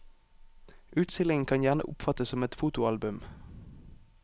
Utstillingen kan gjerne oppfattes som et fotoalbum.